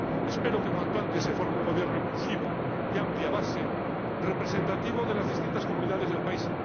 Espero que cuanto antes se forme un gobierno inclusivo, de amplia base, representativo de las distintas comunidades del país.